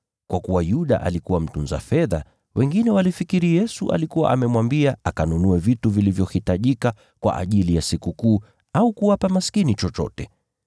Kwa kuwa Yuda alikuwa mtunza fedha, wengine walifikiri Yesu alikuwa amemwambia akanunue vitu vilivyohitajika kwa ajili ya Sikukuu, au kuwapa maskini chochote.